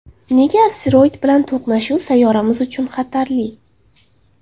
Nega asteroid bilan to‘qnashuv sayyoramiz uchun xatarli?